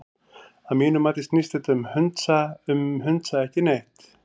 Að mínu mati snýst þetta um hundsa ekki neitt.